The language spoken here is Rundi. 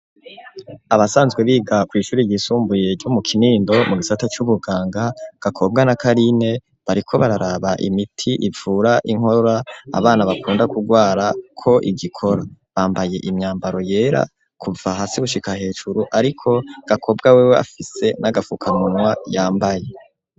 Abasanzwe biga kw' ishuri ryisumbuye ryo mu kinindo, mu gisata c'ubuganga, gakobwa na karine ,bariko bararaba imiti ivura inkorora, abana bakunda kugwara ko igikora, bambaye imyambaro yera kuva hasi gushika hejuru ,ariko gakobwa wewe afise n'agafukamunwa yambaye.